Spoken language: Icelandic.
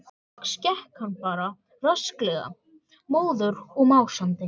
Loks gekk hann bara rösklega, móður og másandi.